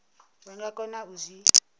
vha nga kona u zwi